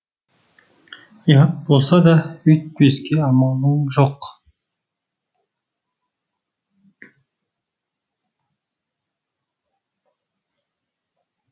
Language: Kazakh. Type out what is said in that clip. ұят болса да үйтпеске амалын жоқ